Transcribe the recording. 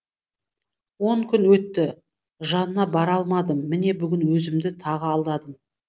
он күн өтті жанына бара алмадым міне бүгін өзімді тағы алдадым